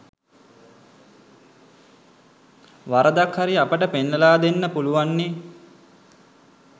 වරදක් හරි අපට පෙන්නලා දෙන්න පුළුන්වන්නේ